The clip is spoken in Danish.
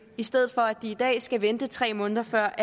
i stedet for at de som i dag skal vente tre måneder før